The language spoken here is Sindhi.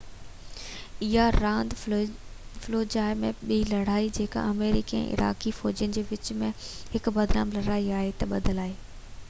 اها راند فلوجاه جي ٻي لڙائي جيڪا آمريڪي ۽ عراقي فوجين جي وچ ۾ هڪ بدنام لڙائي آهي تي ٻڌل آهي